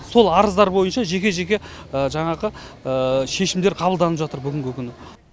сол арыздар бойынша жеке жеке жаңағы шешімдер қабылданып жатыр бүгінгі күні